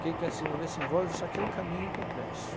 Quem quer se envolver, se envolve, só que é um caminho complexo.